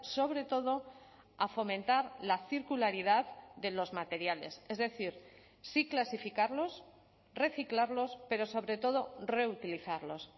sobre todo a fomentar la circularidad de los materiales es decir sí clasificarlos reciclarlos pero sobre todo reutilizarlos